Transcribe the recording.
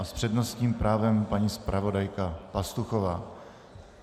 A s přednostním právem paní zpravodajka Pastuchová.